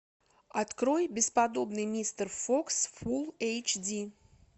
открой бесподобный мистер фокс фул эйч ди